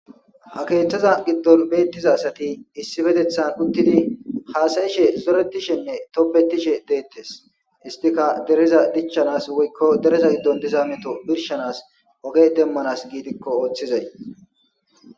Ha kethaza gidon betiza asati issippetetani utidi hasayishe zoretishenne tobetishe detes istika dereza dichanas woyiko dereza gidon diza meto birshanas oge demanas gidiko otizayi